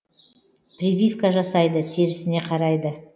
прививка жасайды терісіне қарайды